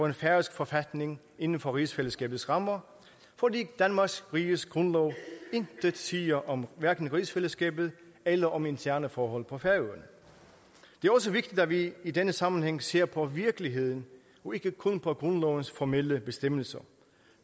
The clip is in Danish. en færøsk forfatning inden for rigsfællesskabets rammer fordi danmarks riges grundlov intet siger om hverken rigsfællesskabet eller om interne forhold på færøerne det er også vigtigt at vi i denne sammenhæng ser på virkeligheden og ikke kun på grundlovens formelle bestemmelser